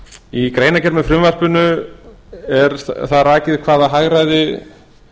í greinargerð með frumvarpinu er rakið hvaða hagræði